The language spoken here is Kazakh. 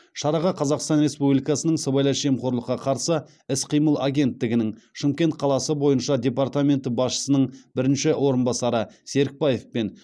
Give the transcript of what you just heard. шараға қазақстан республикасының сыбайлас жемқорлыққа қарсы іс қимыл агенттігінің шымкент қаласы бойынша департаменті басшысының бірінші орынбасары серікбаев пен